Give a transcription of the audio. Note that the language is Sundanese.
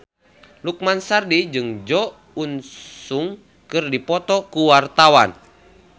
Lukman Sardi jeung Jo In Sung keur dipoto ku wartawan